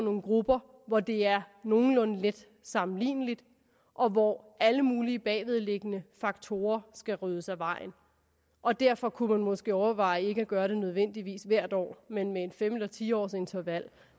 nogle grupper hvor det er nogenlunde let sammenligneligt og hvor alle mulige bagvedliggende faktorer skal ryddes af vejen og derfor kunne man måske overveje at gøre det ikke nødvendigvis hvert år men med et fem års eller ti årsinterval